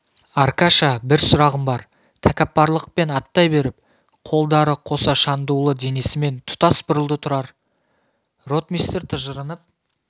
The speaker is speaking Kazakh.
аркаша бір сұрағым бар тәкаппарлықпен аттай беріп қолдары қоса шандулы денесімен тұтас бұрылды тұрар ротмистр тыжырынып